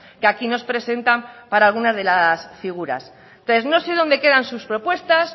que aquí nos presentan para alguna de las figuras entonces no sé dónde quedan sus propuestas